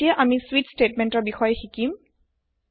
এতিয়া আমি স্বিচ স্টেতমেন্টৰ বিষয়ে শিকিম